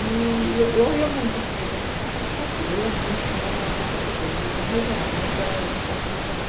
E eu, eu ia muito, eu sempre fui participativa, eu ia muito na prefeitura, na regional, na época era administração regional.